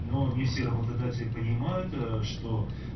но не все работодатели понимают что